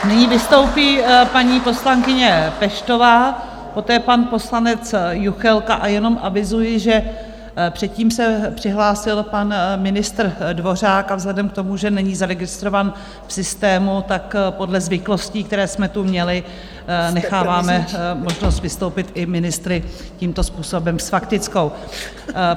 Nyní vystoupí paní poslankyně Peštová, poté pan poslanec Juchelka, a jenom avizuji, že předtím se přihlásil pan ministr Dvořák, a vzhledem k tomu, že není zaregistrován v systému, tak podle zvyklostí, které jsme tu měli, necháváme možnost vystoupit i ministry tímto způsobem s faktickou.